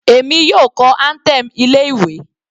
Èmi yóò kọ anthem ilé ìwé.